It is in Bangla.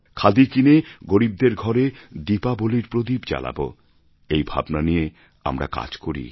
খাদি কিনে গরীবদের ঘরে দীপাবলির প্রদীপ জ্বালাব এই ভাবনা নিয়ে আমরা কাজ করি